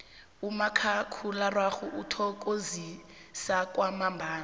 umakhakhulararhwe uthokozisa kwamambala